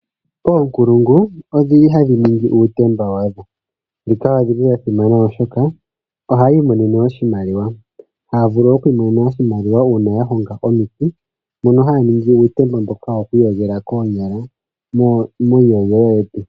Oonkulungu odhili hadhiningi uutemba wadho, shika oshili shasimana oshoka ohayiimonenemo oshimaliwa, haya vulu okwiimonena oshimaliwa uuna yahonga omiti, mono haya ningi uutemba mboka wokwiiyogela koonyala muuhiyogelo wetu.